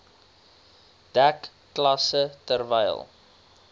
dek klasse terwyl